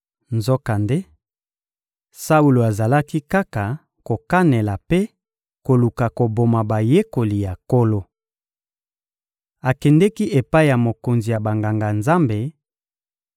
Nzokande, Saulo azalaki kaka kokanela mpe koluka koboma bayekoli ya Nkolo. Akendeki epai ya mokonzi ya Banganga-Nzambe,